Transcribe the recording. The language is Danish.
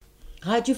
Radio 4